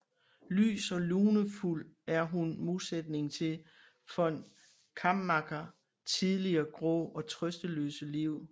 Lys og lunefuld er hun modsætningen til von Kammacher tidligere grå og trøsteløse liv